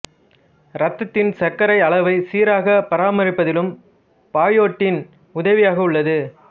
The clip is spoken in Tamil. இரத்தத்தின் சர்க்கரை அளவை சீராகப் பராமரிப்பதிலும் பயோட்டின் உதவியாக உள்ளது